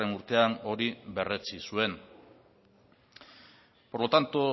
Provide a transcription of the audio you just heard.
urtean hori berretsi zuen por lo tanto